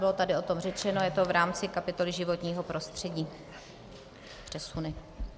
Bylo tady o tom řečeno, je to v rámci kapitoly životního prostředí - přesuny.